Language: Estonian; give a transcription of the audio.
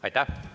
Aitäh!